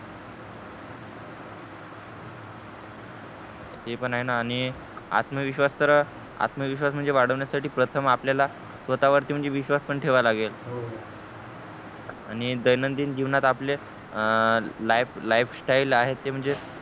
ते पण आहे ना आणि आत्मविश्वास तर आत्मविश्वास म्हणजे वाढविण्या साठी प्रथम आपल्याला स्वतः वरती म्हणजे विश्वास पण ठेवा लागेल हो हो आणि दैनंदिन जीवनात आपले life style आहे ते म्हणजे